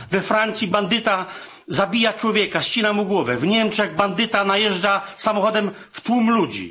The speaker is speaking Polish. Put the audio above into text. We Francji bandyta zabija człowieka, ścina mu głowę, w Niemczech bandyta wjeżdża samochodem w tłum ludzi.